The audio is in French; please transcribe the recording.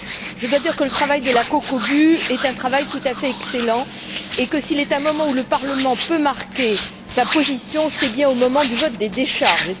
Je dois dire que le travail de la COCOBU est un travail tout à fait excellent, et que s'il est un moment où le Parlement peut marquer sa position, c'est bien au moment du vote des décharges.